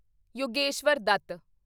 Yogeshwar Dutt